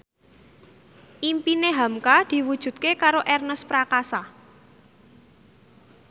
impine hamka diwujudke karo Ernest Prakasa